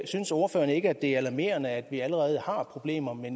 synes ordføreren ikke at det er alarmerende at vi allerede har problemer med